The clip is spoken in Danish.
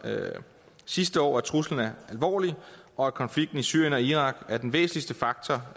sidste år at truslen er alvorlig og at konflikten i syrien og irak er den væsentligste faktor